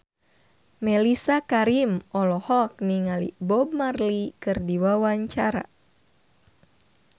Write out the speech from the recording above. Mellisa Karim olohok ningali Bob Marley keur diwawancara